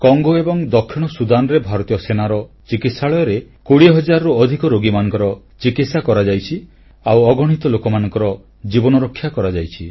Congo ଏବଂ ଦକ୍ଷିଣ ସୁଦାନରେ ଭାରତୀୟ ସେନା ଚିକିତ୍ସାଳୟରେ 20 ହଜାରରୁ ଅଧିକ ରୋଗୀମାନଙ୍କର ଚିକିତ୍ସା କରାଯାଇଛି ଆଉ ଅଗଣିତ ଲୋକମାନଙ୍କର ଜୀବନରକ୍ଷା କରାଯାଇଛି